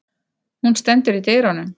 Hún stendur í dyrunum.